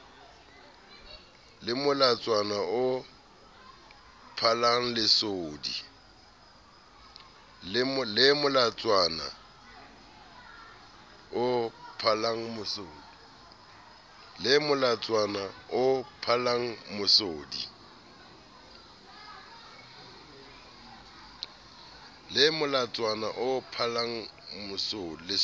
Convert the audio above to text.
le molatswana o phallang lesodi